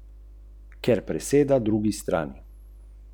Zelena Slovenija?